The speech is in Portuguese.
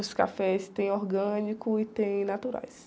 Os cafés tem orgânicos e tem naturais.